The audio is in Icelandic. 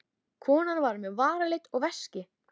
Konan var með varalit og veski.